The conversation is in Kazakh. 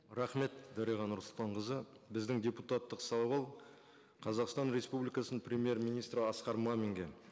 рахмет дариға нұрсұлтанқызы біздің депутаттық сауал қазақстан республикасының премьер министрі асқар маминге